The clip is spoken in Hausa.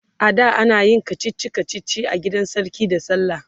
ada anayin kachichi kachichi a gidan sarki da sallah